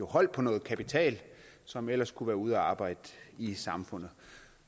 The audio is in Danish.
holdt på noget kapital som ellers kunne være ude at arbejde i samfundet